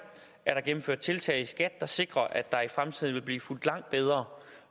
er der gennemført tiltag i skat der sikrer at der i fremtiden vil blive fulgt langt bedre